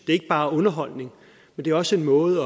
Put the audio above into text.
ikke bare underholdning men det er også en måde